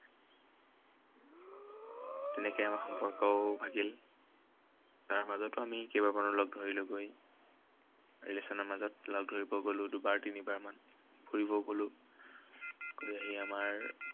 তেনেকে আমাৰ সম্পৰ্কও ভাগিল। তাৰ মাজতো আমি কেইবাবাৰো লগ ধৰিলোগৈ। relation ৰ মাজত লগ ধৰিব গলো দুবাৰ তিনিবাৰ মান। ফুৰিবও গলো। ফুৰি আহি আমাৰ